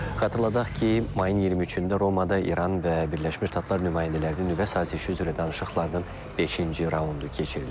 Xatırladaq ki, mayın 23-də Romada İran və Birləşmiş Ştatlar nümayəndələrinin nüvə sazişi üzrə danışıqlarının beşinci raundu keçirilib.